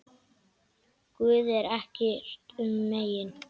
Guði er ekkert um megn.